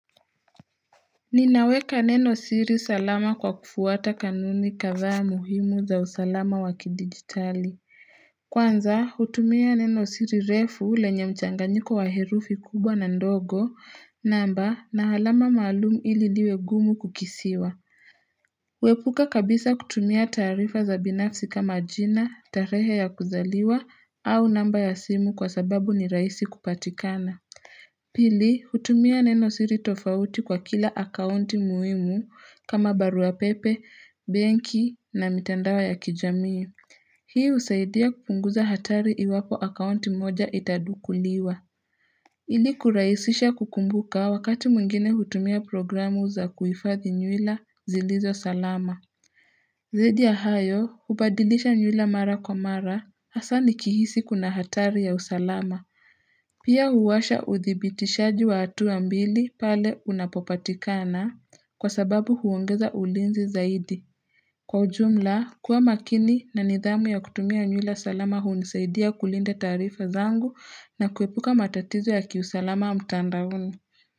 Ninaweka neno siri salama kwa kufuata kanuni kadhaa muhimu za usalama wakidigitali. Kwanza hutumia neno siri refu ule yenye mchanganyiko wa herufi kubwa na ndogo namba na halama maalumu ili liwe ngumu kukisiwa. Kuepuka kabisa kutumia tarifa za binafsi kama ajina, tarehe ya kuzaliwa au namba ya simu kwa sababu ni raisi kupatikana. Pili, hutumia neno siri tofauti kwa kila akaunti muimu kama baruapepe, benki na mitandao ya kijamii. Hii usaidia kupunguza hatari iwapo akaunti moja itadukuliwa. Ili kurahisisha kukumbuka wakati mwigine hutumia programu za kuifadhi nyuila zilizo salama. Zaidi ya hayo, ubadilisha nyuila mara kwa mara, hasa ni kihisi kuna hatari ya usalama. Pia huwasha uthibitishaji wa hatua ambili pale unapopatikana kwa sababu huongeza ulinzi zaidi. Kwa ujumla, kuwa makini na nidhamu ya kutumia nyula salama hunisaidia kulinda tarifa zangu na kuepuka matatizo ya kiusalama mtandaoni.